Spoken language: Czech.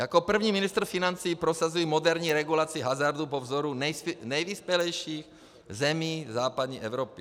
Jako první ministr financí prosazuji moderní regulaci hazardu po vzoru nejvyspělejších zemí západní Evropy.